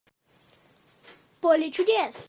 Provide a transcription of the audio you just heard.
поле чудес